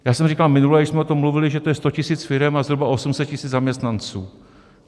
Já jsem říkal minule, když jsme o tom mluvili, že to je 100 tisíc firem a zhruba 800 tisíc zaměstnanců.